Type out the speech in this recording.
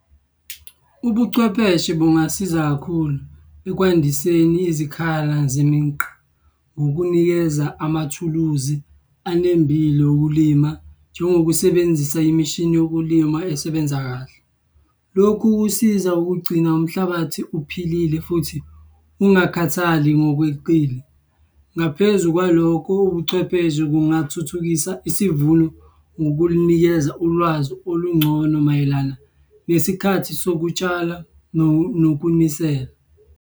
Ubuchwepheshe bungasiza kakhulu ekwandiseni izikhala ngokunikeza amathuluzi anembile okulima njengokusebenzisa imishini yokulima esebenza kahle. Lokhu kusiza ukugcina umhlabathi uphilile futhi ungakhathali ngokweqile. Ngaphezu kwalokho, ubuchwepheshe bungathuthukisa isivuno ngokunikeza ulwazi olungcono mayelana nesikhathi sokutshala nokunisela.